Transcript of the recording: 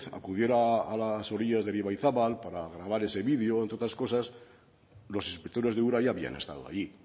acudiera a las orillas del ibaizabal para grabar ese vídeo entre otras cosas los inspectores de ura ya habían estado ahí y